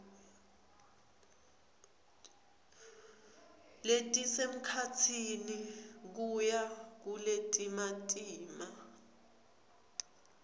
letisemkhatsini kuya kuletimatima